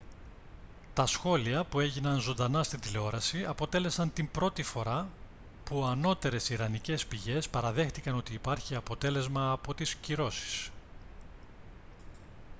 τα σχόλια που έγιναν ζωντανά στην τηλεόραση αποτέλεσαν την πρώτη φορά που ανώτερες ιρανικές πηγές παραδέχτηκαν ότι υπάρχει αποτέλεσμα από τις κυρώσεις